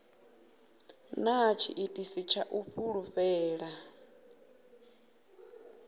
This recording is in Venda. na tshiitisi tsha u fulufhela